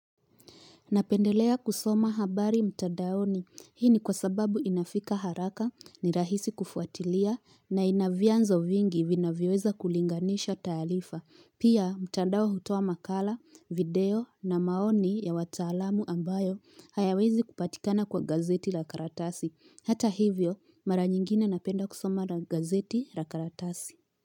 Napendelea kusoma habari mtandaoni. Hii ni kwa sababu inafika haraka ni rahisi kufuatilia na ina vyanzo vingi vinavyoweza kulinganisha taarifa. Pia, mtandao hutoa makala, video na maoni ya wataalamu ambayo hayawezi kupatikana kwa gazeti la karatasi. Hata hivyo, mara nyingine napenda kusoma na gazeti la karatasi.